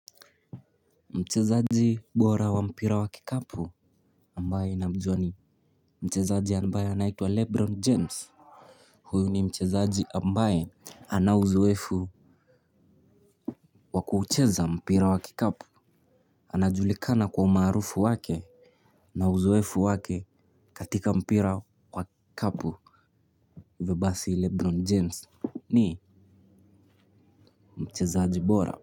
Mchezaji bora wa mpira wa kikapu ambaye namjuwa ni mchezaji ambaye anaitwa Lebron James. Huyu ni mchezaji ambaye ana uzoefu wa kuucheza mpira wa kikapu. Anajulikana kwa umarufu wake. Na uzoefu wake katika mpira wa kikapu ivo basi Lebron James ni mchezaaji bora.